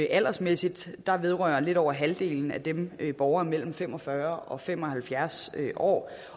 aldersmæssigt vedrører lidt over halvdelen af dem borgere mellem fem og fyrre og fem og halvfjerds år